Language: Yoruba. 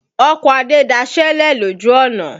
Ọkọ̀ Adé daṣélẹ̀ lòjù ọ̀nà.